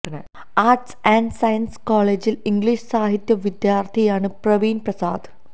arts and science കോളേജില് English സാഹിത്യ വിദ്യാർത്ഥിയാണ് പ്രവീൺ പ്രസാദ്